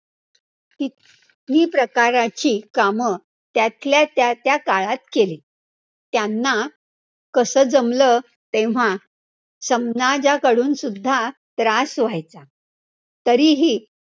कि ती प्रकाराची कामं, त्यातल्या त्या त्या काळात केली, त्यांना कसं जमलं, तेव्हा समाजाकडून सुद्धा त्रास व्हायचा, तरीही